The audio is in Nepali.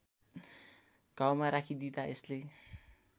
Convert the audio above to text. घाउमा राखिदिँदा यसले